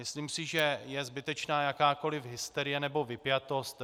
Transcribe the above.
Myslím si, že je zbytečná jakákoliv hysterie nebo vypjatost.